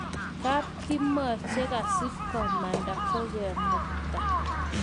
Kapkimor chekashikomanda kukemukta